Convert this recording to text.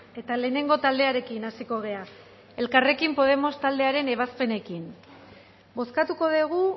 eta lehenengo taldearekin hasiko gara elkarrekin podemos taldearen ebazpenekin bozkatuko dugu